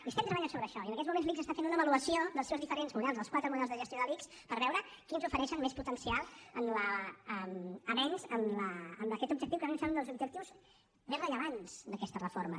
i estem treballant sobre això i en aquests moments l’ics està fent una avaluació dels seus diferents models dels quatre models de gestió de l’ics per veure quins ofereixen més potencial en l’avenç en aquest objectiu que a mi em sembla un dels objectius més rellevants d’aquesta reforma